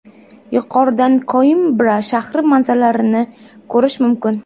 Yuqoridan Koimbra shahri manzaralarini ko‘rish mumkin.